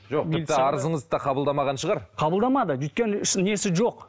жоқ тіпті арызыңызды да қабылдамаған шығар қабылдамады өйткені несі жоқ